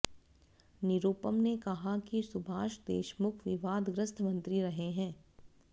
निरुपम ने कहा कि सुभाष देशमुख विवादग्रस्त मंत्री रहे हैं